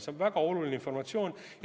See on väga oluline informatsioon.